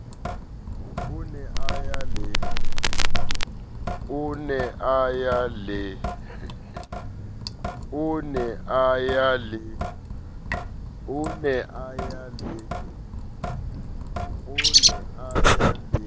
o ne a ya le